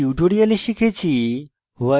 in tutorial আমরা শিখেছি